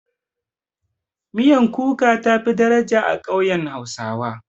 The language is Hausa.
Miyan kuka tafi daraja a ƙauyen hausawa.